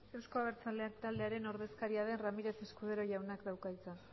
euzko abertzale taldearen ordezkariaren ramírez escudero jauna dauka hitza